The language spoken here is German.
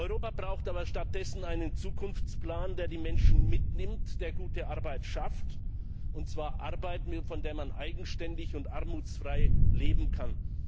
Europa braucht aber stattdessen einen Zukunftsplan, der die Menschen mitnimmt, der gute Arbeit schafft, und zwar Arbeit, von der man eigenständig und armutsfrei leben kann.